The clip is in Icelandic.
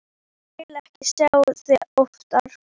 Ég vil ekki sjá þig oftar.